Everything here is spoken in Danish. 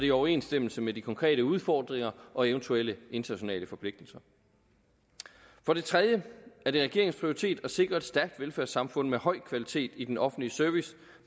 i overensstemmelse med de konkrete udfordringer og eventuelle internationale forpligtelser for det tredje er det regeringens prioritet at sikre et stærkt velfærdssamfund med høj kvalitet i den offentlige service